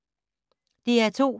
DR2